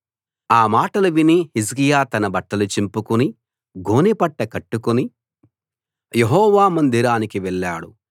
ఆ మాటలు విని హిజ్కియా తన బట్టలు చింపుకుని గోనెపట్ట కట్టుకుని యెహోవా మందిరానికి వెళ్ళాడు